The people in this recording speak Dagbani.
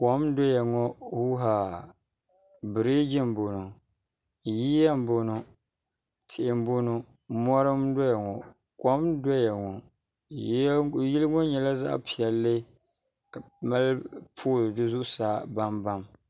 kom n doya ŋɔ huuhaa biriji n bɔŋɔ yiya n bɔŋɔ tihi n bɔŋɔ mori n doya ŋɔ kom n doya ŋɔ yili ŋɔ nyɛla zaɣ piɛlli ka mali pool di zuɣusaa baŋbaŋ